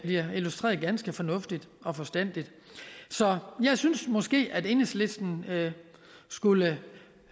jeg illustreres ganske fornuftigt og forstandigt så jeg synes måske at enhedslisten skulle